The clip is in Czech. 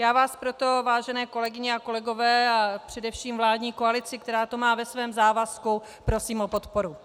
Já vás proto, vážené kolegyně a kolegové, a především vládní koalici, která to má ve svém závazku, prosím o podporu.